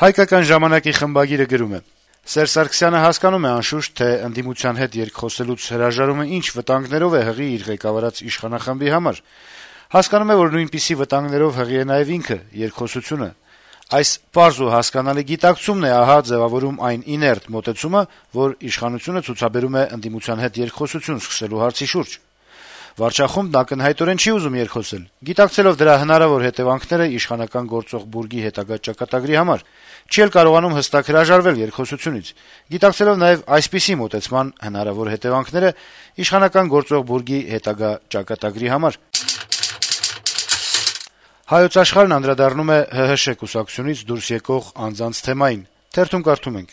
«Հայկական ժամանակ»-ի խմբագիրը գրում է. - «Սերժ Սարգսյանը հասկանում է, անշուշտ, թե ընդդիմության հետ երկխոսելուց հրաժարումը ինչ վտանգներով է հղի իր ղեկավարած վարչախմբի համար: Հասկանում է, որ նույնպիսի վտանգներով հղի է նաեւ ինքը` երկխոսությունը: Այս պարզ ու հասկանալի գիտակցումն է ձեւավորում ահա այն իներտ մոտեցումը, որ իշխանությունը ցուցաբերում է ընդդիմության հետ երկխոսություն սկսելու հարցի շուրջ: Վարչախումբն ակնհայտորեն չի ուզում երկխոսել` գիտակցելով դրա հնարավոր հետեւանքները իշխանական գործող բուրգի հետագա ճակատագրի համար: Չի էլ կարողանում հստակ հրաժարվել երկխոսությունից` գիտակցելով նաեւ այսպիսի մոտեցման հնարավոր հետեւանքները իշխանական գործող բուրգի հետագա ճակատագրի համար»: «Հայոց Աշխարհ»-ն անդրադառնում է ՀՀՇ կուսակցությունից դուրս եկող անձանց թեմային.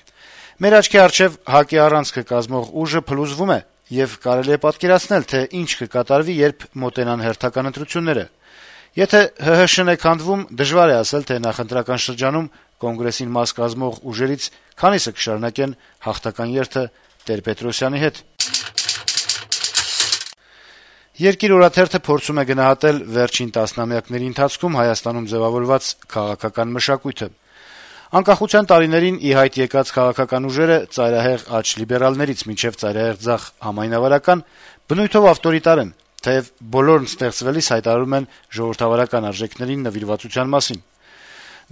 - «Մեր աչքի առջեւ ՀԱԿ-ի առանցքը կազմող ուժը փլուզվում է, եւ կարելի է պատկերացնել, թե ինչ կկատարվի, երբ մոտենան հերթական ընտրությունները: Եթե ՀՀՇ-ն է քանդվում, դժվար է ասել, թե նախընտրական շրջանում կոնգրեսին մաս կազմող ուժերից քանիսը կշարունակեն «հաղթական երթը» Տեր-Պետրոսյանի հետ»: «Երկիր» օրաթերթը փորձում է գնահատել վերջին տասնամյակների ընթացքում Հայաստանում ձեւավորված քաղաքական մշակույթը. - «Անկախության տարիներին ի հայտ եկած քաղաքական ուժերը՝ ծայրահեղ աջ լիբերալներից մինչեւ ծայրահեղ ձախ համայնավարական, բնույթով ավտորիտար են, թեեւ բոլորը ստեղծվելիս հայտարարում են ժողովրդավարական արժեքներին իրենց նվիրվածության մասին: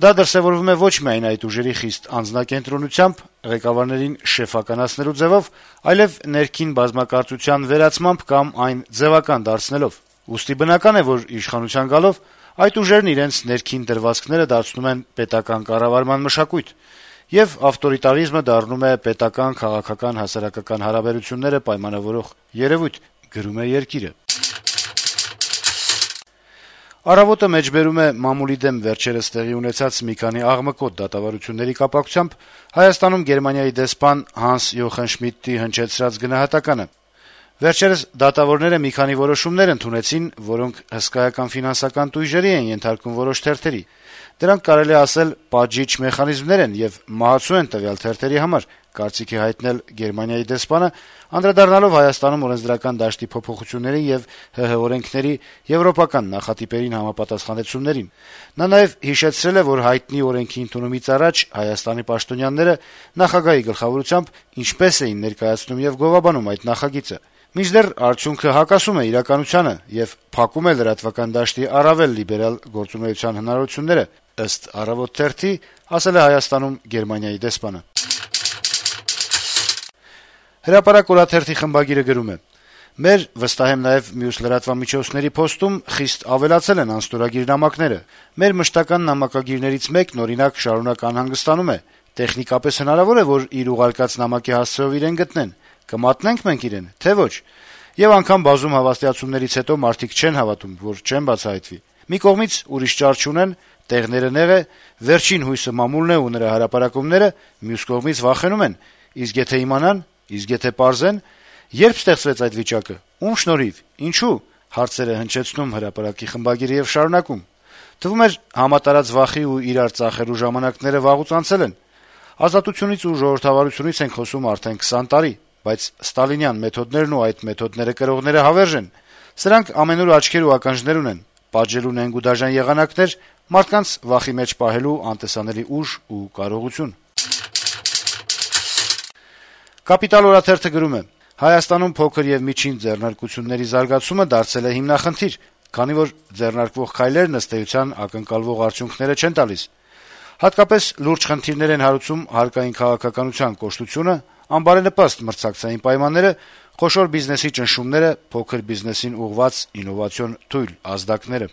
Դա դրսեւորվում է ոչ միայն այդ ուժերի խիստ անձնակենտրոնությամբ, ղեկավարներին «շեֆ»-ականացնելու ձևով, այլեւ ներքին բազմակարծության ու այլընտրանքային մոտեցումների վերացմամբ կամ` դրանք ձեւական դարձնելով: Ուստի բնական է, որ, իշխանության գալով, այդ նույն ուժերն իրենց ներքին դրվածքները դարձնում են պետական կառավարման մշակույթ: Արդյունքում՝ ավտորիտարիզմը դառնում է պետական, քաղաքական, հասարակական հարաբերությունները պայմանավորող երեւույթ»: «Առավոտ»-ը մեջբերում է մամուլի դեմ վերջերս տեղի ունեցած մի քանի աղմկոտ դատավարությունների կապակցությամբ Հայաստանում Գերմանիայի դեսպան Հանս Յոխան Շմիդտի հնչեցրած գնահատականը. - «Վերջերս դատավորները մի քանի որոշումներ ընդունեցին, որոնք հսկայական ֆինանսական տույժերի են ենթարկում որոշ թերթերի: Դրանք, կարելի է ասել, պատժիչ մեխանիզմներ են եւ մահացու են տվյալ թերթի համար»: Դեսպանը անդրադարձել է Հայաստանում օրենսդրական դաշտի փոփոխություններին եւ ՀՀ օրենքները եվրոպական նախատիպերին համապատասխանեցումներին: Նա նաեւ հիշեցրել է, որ հայտնի օրենքի ընդունումից առաջ Հայաստանի պաշտոնյաները` նախագահի գլխավորությամբ, ինչպես էին ներկայացնում եւ գովաբանում այդ նախագիծը, մինչդեռ` «արդյունքը հակասում է իրականությանը եւ փակում է լրատվական դաշտի առավել լիբերալ գործունեության հնարավորությունները»: «Հրապարակ» օրաթերթի խմբագիրը գրում է. - «Մեր, վստահ եմ նաեւ մուս լրատվամիջոցների, փոստում խիստ ավելացել են անստորագիր նամակները: Մեր մշտական նամակագիրներից մեկն օրինակ շարունակ անհանգստանում է՝ տեխնիկապես հնարավո՞ր է, որ իր ուղարկած նամակի հասցեով իրեն գտնեն, կմատնե՞նք մենք իրեն, թե՞ ոչ: Եվ անգամ բազում հավաստիացումներից հետո մարդիկ չեն հավատում, որ չեն բացահայտվի: Մի կողմից՝ ուրիշ ճար չունեն, տեղները նեղ է, վերջին հույսը մամուլն է ու նրա հրապարակումները: Մյուս կողմից վախենում են՝ իսկ եթե իմանա՞ն, իսկ եթե պարզե՞ն: Ե՞րբ ստեղծվեց այդ վիճակը, ո՞ւմ շնորհիվ, ինչո՞ւ: Թվում էր՝ համատարած վախի ու իրար ծախելու ժամանակները վաղուց անցել են: Ազատությունից ու ժողովրդավարությունից ենք խոսում արդեն 20 տարի: Բայց ստալինյան մեթոդներն ու այդ մեթոդները կրողները հավերժ են: Սրանք ամենուր աչքեր ու ականջներ ունեն, պատժելու նենգ ու դաժան եղանակներ, մարդկանց վախի մեջ պահելու անտեսանելի ուժ ու կարողություն»: «Կապիտալ» օրաթերթը գրում է. - «Հայաստանում փոքր եւ միջին ձեռնարկությունների զարգացումը դարձել է հիմնախնդիր, քանի որ ձեռնարկվող քայլերն ըստ էության ակնկալվող արդյունքները չեն տալիս։ Հատկապես լուրջ խնդիրներ են հարուցում հարկային քաղաքականության կոշտությունը, անբարենպաստ մրցակցային պայմանները, խոշոր բիզնեսի ճնշումները, փոքր բիզնեսին ուղղված ինովացիոն թույլ ազդակները»։